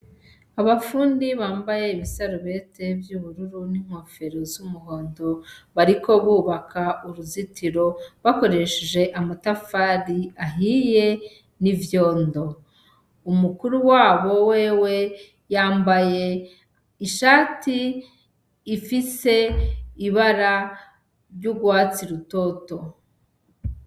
Abafundi bambaye ibisarubete vy'ubururu n'inkofero z'umuhondo bariko bubaka uruzitiro bakoresheje amatafari ahiye n'ivyondo, umukuru wabo wewe yambaye ishati ifise ibara ry'urwatsi rutoto.